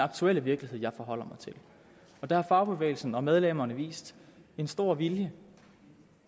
aktuelle virkelighed jeg forholder mig til der har fagbevægelsen og medlemmerne vist en stor vilje